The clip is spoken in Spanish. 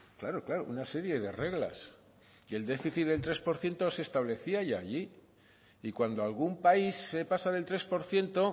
claro claro una serie de reglas y el déficit del tres por ciento se establecía ya allí y cuando algún país se pasa del tres por ciento